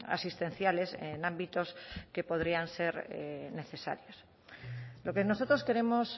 asistenciales en ámbitos que podrían ser necesarios lo que nosotros queremos